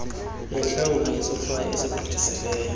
yentlawulo yesohlwayo esigqithisileyo